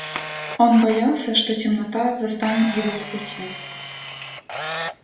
он боялся что темнота застанет его в пути